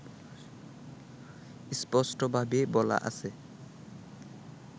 স্পষ্টভাবে বলা আছে